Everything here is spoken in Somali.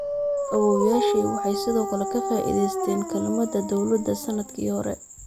Awoowyaashay waxay sidoo kale ka faa'iideysteen kaalmada dawladda sannadkii hore.